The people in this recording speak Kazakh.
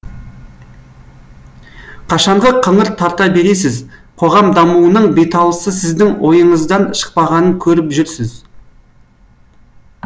қашанғы қыңыр тарта бересіз қоғам дамуының беталысы сіздің ойыңыздан шықпағанын көріп жүрсіз